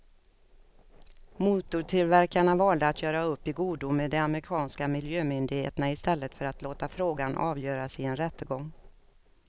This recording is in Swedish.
Motortillverkarna valde att göra upp i godo med de amerikanska miljömyndigheterna i stället för att låta frågan avgöras i en rättegång.